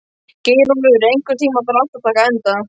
Geirólfur, einhvern tímann þarf allt að taka enda.